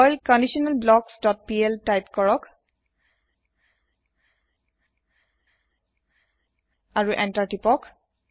Perl conditional blocks dot PL type কৰক আৰু enter তিপক